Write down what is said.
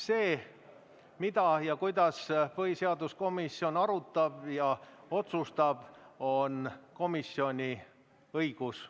See, mida ja kuidas põhiseaduskomisjon arutab ja otsustab, on komisjoni õigus.